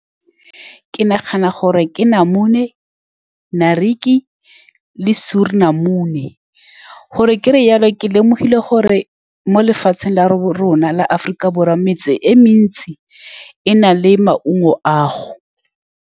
Ke nagana gore ke namune, naartjie le suurlemoen, gore kere jalo, ke lemogile gore mo lefatsheng la rona la Aforika Borwa, metse e mentsi e na le maungo ao.